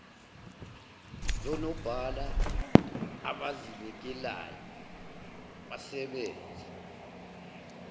zonobhala abazinikelayo basebenze